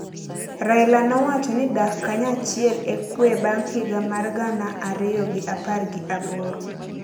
Raila nowacho ni dak kanyachiel e kwe bang’ higa mar gana ariyo gi apar gi aboro